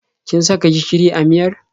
Kin saka gishiri a miyar?